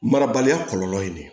Marabaliya kɔlɔlɔ ye de